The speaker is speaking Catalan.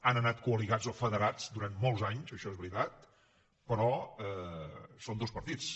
han anat col·ligats o federats durant molts anys això és veritat però són dos partits